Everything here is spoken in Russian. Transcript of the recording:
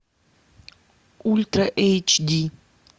ультра эйч ди